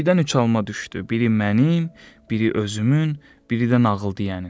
Göydən üç alma düşdü, biri mənim, biri özümün, biri də nağıl deyənin.